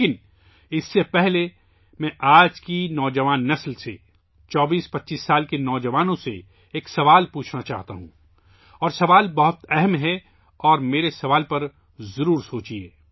لیکن، اس سے پہلے، میں آج کی نسل کے نوجوانوں سے، 2425 سال کے نوجوانوں سے ایک سوال پوچھنا چاہتا ہوں، اور یہ سوال بہت سنجیدہ ہے، اور میرے سوال پر ضرور غور کریں